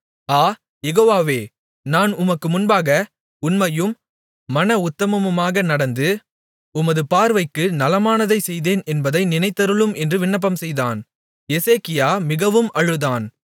ஆ யெகோவவே நான் உமக்கு முன்பாக உண்மையும் மனஉத்தமமுமாக நடந்து உமது பார்வைக்கு நலமானதைச் செய்தேன் என்பதை நினைத்தருளும் என்று விண்ணப்பம்செய்தான் எசேக்கியா மிகவும் அழுதான்